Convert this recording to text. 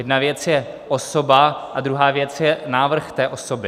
Jedna věc je osoba a druhá věc je návrh té osoby.